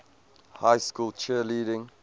high school cheerleading